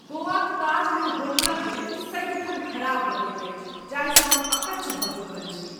गोवाक ताजमे होटलक लिफ्ट सदिखन खराब रहैत अछि, जाहिसँ हम अक्च्छ भऽ चुकल छी।